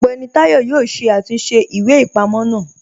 Ọgbẹni Tayọ̀ yọ̀ọ́ ṣé àtúnṣe ìwé-ipamọ̀ náà